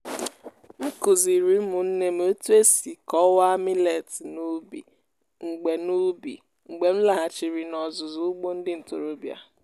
m kụziri ụmụnne m otu esi kọwaa millets n’ubi mgbe n’ubi mgbe m laghachiri n'ọzụzụ ugbo ndị ntorobịa.